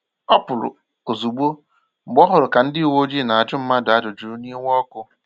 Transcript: Ọ pụrụ̀ ozugbò mgbe ọ hụrụ ka ndị ụ̀wẹ̀ọjịị na-ajụ mmadụ ajụjụ n'iwe ọkụ